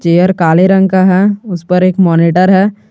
Chair काले रंग का है उसे पर एक मॉनिटर है।